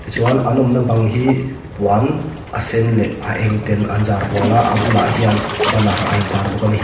chuan an awmna bang hi puan a sen leh a eng ten an zar hual a a bulah hian banner a intâr bawk a ni.